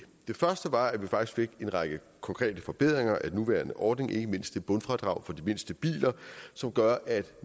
den første var at vi faktisk fik en række konkrete forbedringer af den nuværende ordning ikke mindst et bundfradrag for de mindste biler som gør at der